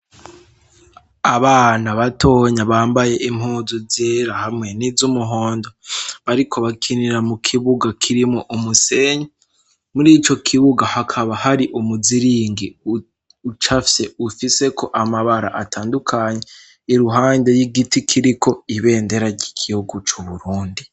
Abana batonya bambaye impunzu zera hamwe n'izumuhondo, bariko bakinira mu kibuga kirimwo umusenyi, muri ico kibuga hakaba hari umuziringi ucafye ufiseko amabara atandukanye, iruhande y'igiti kiriko ibendera ry'igihugu cu Burundi.